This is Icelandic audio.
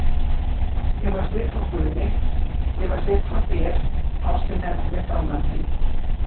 Ég fæ styrk frá guði, ég fæ styrk frá þér, ástin heldur mér gangandi.